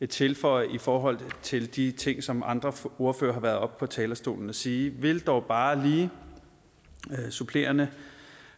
tilføje i forhold til de ting som andre ordførere har været oppe på talerstolen at sige vil dog bare lige supplerende